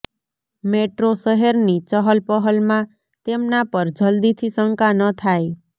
metro શહેરની ચહલપહલમાં તેમના પર જલદીથી શંકા ન થાય